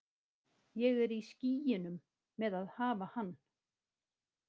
Ég er í skýjunum með að hafa hann.